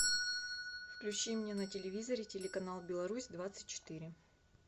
включи мне на телевизоре телеканал беларусь двадцать четыре